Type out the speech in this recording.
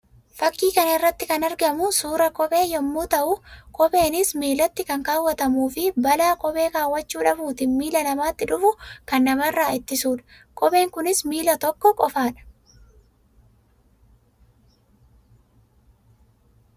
Fakkii kana irratti kan argamu suuraa kophee yammuu ta'u; kopheenis miillatti kan kawwaatamuu fi balaa kophee kawwaachuu dhabuutiin miila namaatti dhufu kan nama irraa ittisuu dha. Kopheen kunis miilla tokko qofaa dha.